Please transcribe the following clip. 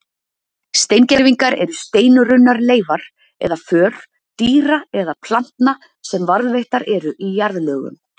Steingervingar eru steinrunnar leifar eða för dýra eða plantna sem varðveittar eru í jarðlögum.